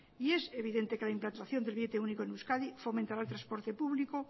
y evidente que la implantación del billete único en euskadi fomentará el transporte público